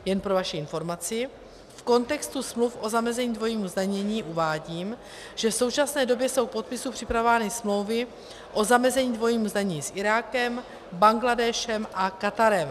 Jen pro vaši informaci, v kontextu smluv o zamezení dvojímu zdanění uvádím, že v současné době jsou k podpisu připravovány smlouvy o zamezení dvojímu zdanění s Irákem, Bangladéšem a Katarem.